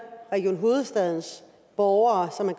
region hovedstadens borgere som